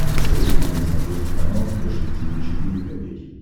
посоветуй мне на смотрешке канал фэшн ти ви четыре ка